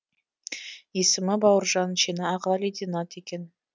есімі бауыржан шені аға лейтенант екен